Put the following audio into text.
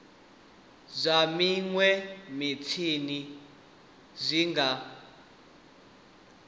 zwa minwe mitshini zwi nga